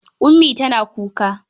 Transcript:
Ummi tana kuka.